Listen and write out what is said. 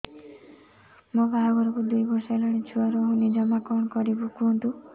ମୋ ବାହାଘରକୁ ଦୁଇ ବର୍ଷ ହେଲାଣି ଛୁଆ ରହୁନି ଜମା କଣ କରିବୁ କୁହନ୍ତୁ